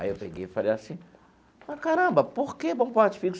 Aí eu peguei e falei assim... Mas caramba, por que bom porte físico?